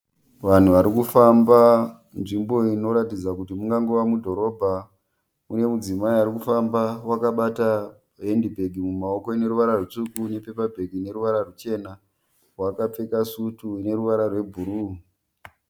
Vanhu varikufamba nzvimbo inoratidza kuti mungangova mudhorobha. Mune mudzimai arikufamba wakabata hendibhegi mumaoko ine ruvara rutsvuku nepepabheki rine ruvara rwuchena. Wakapfeka sutu ineruvara rwebhuruwu.